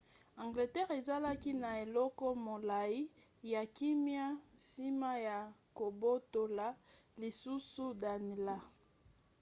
angleterre ezalaki na eleko molai ya kimia nsima ya kobotola lisusu danelaw